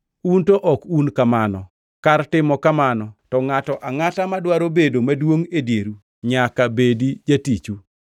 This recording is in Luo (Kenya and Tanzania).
Un to ok un kamano. Kar timo kamano, to ngʼato angʼata madwaro bedo maduongʼ e dieru nyaka bedi jatichu,